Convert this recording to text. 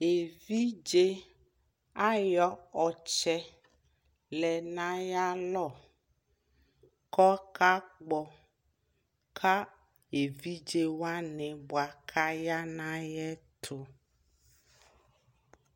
ɛvidzɛ ayɔ ɔtsɛ lɛnʋ ayi alɔ kʋ ɔka kpɔ ka ɛvidzɛ wani bʋa kʋ aya nʋ ayɛtʋ